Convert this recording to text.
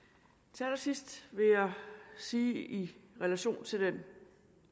til allersidst vil jeg sige i relation til den